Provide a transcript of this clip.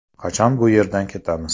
Qachon bu yerdan ketamiz?